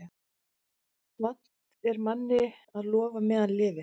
Vant er manni að lofa meðan lifir.